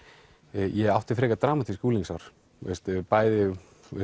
ég átti frekar dramatísk unglingsár bæði